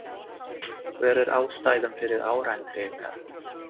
Hver er ástæðan fyrir árangri ykkar?